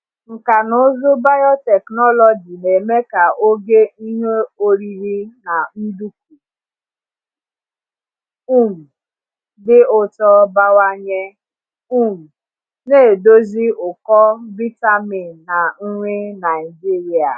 Nkà na ụzụ biotechnology na-eme ka ogo ihe oriri na nduku um dị ụtọ bawanye, um na-edozi ụkọ vitamin na nri Naijiria.